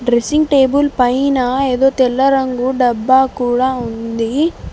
Dressing table పైన ఏదో తెల్ల రంగు డబ్బా కూడా ఉంది.